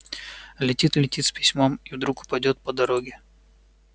летит летит с письмом и вдруг упадёт по дороге